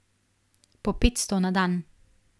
Po petsto na dan.